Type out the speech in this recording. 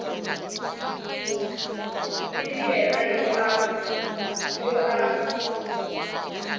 e le yena yo a